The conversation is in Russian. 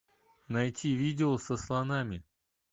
найти видео со слонами